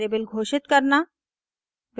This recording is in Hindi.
वेरिएबल घोषित करना